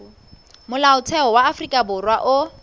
molaotheo wa afrika borwa o